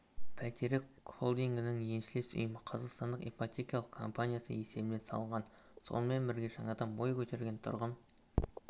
бәйтерек холдингінің еншілес ұйымы қазақстан ипотекалық компаниясы есебінен салынған сонымен бірге жаңадан бой көтерген тұрғын